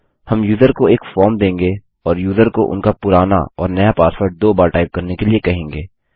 हम यूज़र को एक फॉर्म देंगे और यूज़र को उनका पुराना और नया पासवर्ड दो बार टाइप करने के लिए कहेंगे